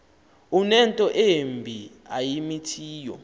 unento embi ayimithiyo